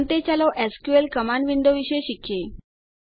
અંતે ચાલો SQL command window વિશે શીખીએ